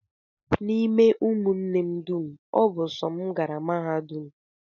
N'ime ụmụnne m dum, ọ bụ sọ m gara mahadum